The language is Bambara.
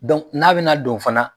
n'a bɛ na don fana